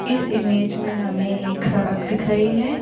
इस इमेज में हमें एक सड़क दिख रही है।